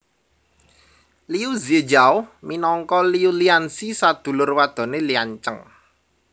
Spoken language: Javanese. Liu Zi Jiao minangka Liu Liansi Sadulur wadoné Liancheng